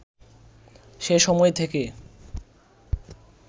সে সময় থেকে